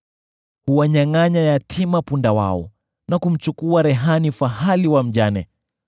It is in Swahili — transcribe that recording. Huwanyangʼanya yatima punda wao, na kumchukua rehani fahali wa mjane.